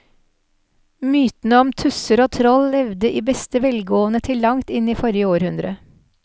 Mytene om tusser og troll levde i beste velgående til langt inn i forrige århundre.